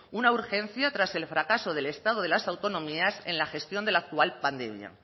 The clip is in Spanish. una urgencia tras el fracaso del estado de las autonomías en la gestión de la actual pandemia